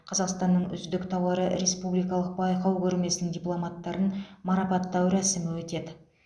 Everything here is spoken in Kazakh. қазақстанның үздік тауары республикалық байқау көрмесінің дипломанттарын марапаттау рәсімі өтеді